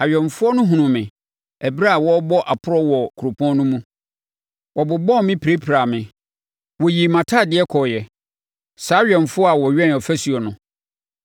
Awɛmfoɔ no hunuu me ɛberɛ a wɔrebɔ aporɔ wɔ kuropɔn no mu. Wɔbobɔɔ me pirapiraa me; wɔyii mʼatadeɛ kɔreɛ saa awɛmfoɔ a wɔwɛn afasuo no!